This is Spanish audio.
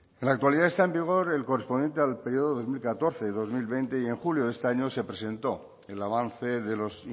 en la actualidad está en vigor el correspondiente al periodo de dos mil catorce dos mil veinte y en julio de este año se presentó el avance de los